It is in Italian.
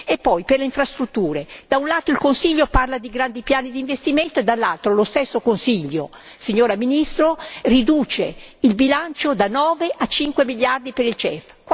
E poi, per le infrastrutture, da un lato, il Consiglio parla di grandi piani d'investimento e, dall'altro, lo stesso Consiglio, signora Ministro, riduce il bilancio da 9 a 5 miliardi per il CEF.